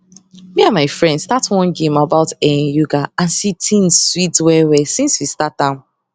me and my friend start one game about[um]yoga and si thing sweet well well since we start am